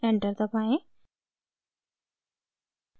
enter दबाएं